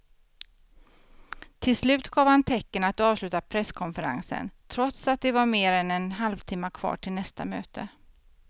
Till slut gav han tecken att avsluta presskonferensen trots att det var mer än en halvtimme kvar till nästa möte.